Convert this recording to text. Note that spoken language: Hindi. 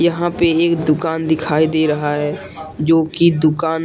यहां पे एक दुकान दिखाई दे रहा है जो कि दुकान--